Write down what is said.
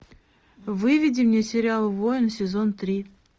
выведи мне сериал воин сезон три